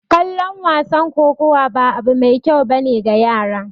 Kallon wasan kokowa ba abu mai kyau ba ne ga yara